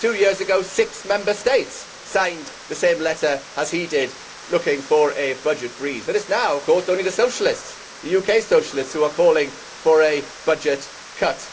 Two years ago six Member States signed the same letter as he did looking for a budget freeze and it is now of course only the socialists, the UK socialists, who are calling for a budget cut.